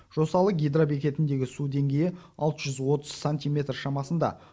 жосалы гидробекетіндегі су деңгейі алты жүз отыз сантиметр шамасында